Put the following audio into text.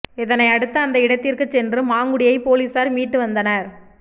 இதனையடுத்து அந்த இடத்திற்குச் சென்று மாங்குடியை போலீசார் மீட்டு வந்தனர்